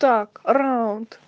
так раунд